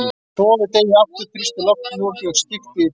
Hnoðið deigið aftur, þrýstið loftinu úr því og skiptið í tvennt.